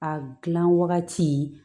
A gilan wagati